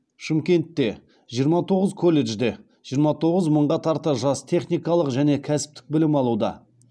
шымкентте жиырма тоғыз колледжде жиырма тоғыз мыңға тарта жас техникалық және кәсіптік білім алуда